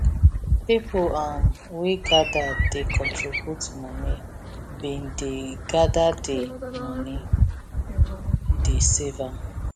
pipu um wey gather dey contribute money bin dey gather di money dey save am